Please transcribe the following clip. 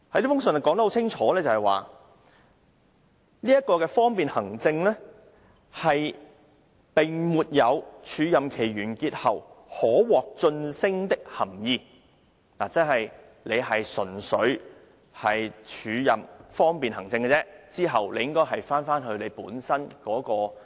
該覆函清楚說明，方便行政的署任並沒有署任完結後可獲晉升的含義，有關人員在署任期過後便回到本身的職位。